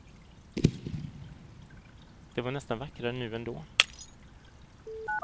Det var nästan vackrare nu än då.